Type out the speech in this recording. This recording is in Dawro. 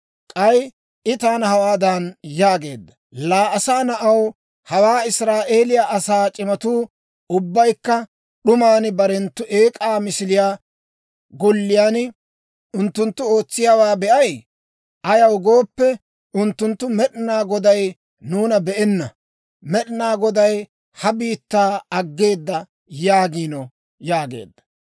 K'ay I taana hawaadan yaageedda; «Laa asaa na'aw, hawaa Israa'eeliyaa asaa c'imatuu ubbaykka d'uman barenttu eek'aa misiliyaa golliyaan unttunttu ootsiyaawaa be'ay? Ayaw gooppe, unttunttu, Med'inaa Goday nuuna be'enna; Med'inaa Goday ha biittaa aggeeda yaagiino» yaageedda.